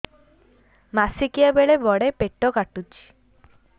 ମାସିକିଆ ବେଳେ ବଡେ ପେଟ କାଟୁଚି